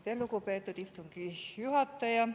Aitäh, lugupeetud istungi juhataja!